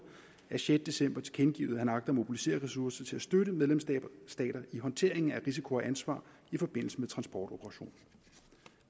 af sjette december tilkendegivet at han agter at mobilisere ressourcer til at støtte medlemsstater i håndteringen af risiko og ansvar i forbindelse med transportoperationen